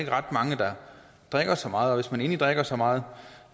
ret mange der drikker så meget og man endelig drikker så meget